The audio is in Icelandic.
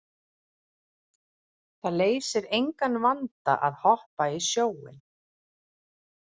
Það leysir engan vanda að hoppa í sjóinn.